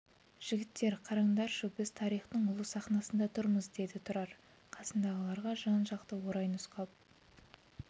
жігіттер қараңдаршы біз тарихтың ұлы сахнасында тұрмыз деді тұрар қасындағыларға жан-жақты орай нұсқап